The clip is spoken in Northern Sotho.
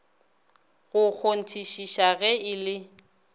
go kgonthišiša ge e le